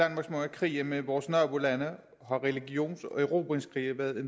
krige med vores nabolande har religions og erobringskrige været